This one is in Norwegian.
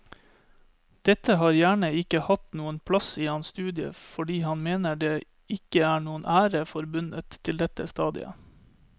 Dette har gjerne ikke hatt noen plass i hans studie fordi han mener det ikke er noen ære forbundet til dette stadiet.